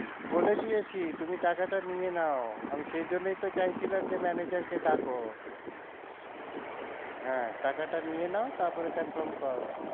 বলে দিয়েছি তুমি টাকাটা নিয়ে নাও আমি সেই জন্যই তো চাইছিলাম যে manager কে ডাকো হ্যাঁ টাকাটা নিয়ে নাও তারপরে confirm করো।